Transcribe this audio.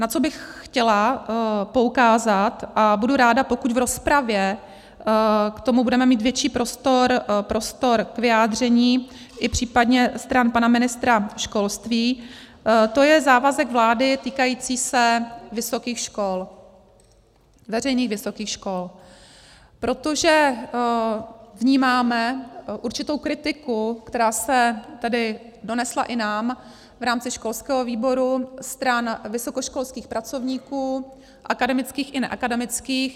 Na co bych chtěla poukázat, a budu ráda pokud v rozpravě k tomu budeme mít větší prostor k vyjádření, i případně stran pana ministra školství, to je závazek vlády týkající se vysokých škol, veřejných vysokých škol, protože vnímáme určitou kritiku, která se tedy donesla i nám v rámci školského výboru stran vysokoškolských pracovníků, akademických i neakademických.